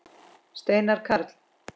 Steinar Karl.